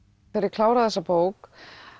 kláraði þessa bók